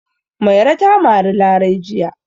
Mairo ta mari Larai jiya.